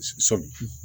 Sɔmi